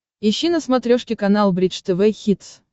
ищи на смотрешке канал бридж тв хитс